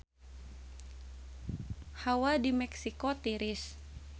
Hawa di Meksiko tiris